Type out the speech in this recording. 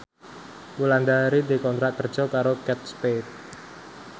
Wulandari dikontrak kerja karo Kate Spade